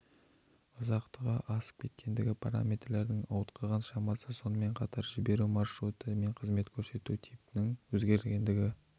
ұзақтығы асып кеткендігі параметрлердің ауытқыған шамасы сонымен қатар жіберу маршруты мен қызмет көрсету типінің өзгергендігі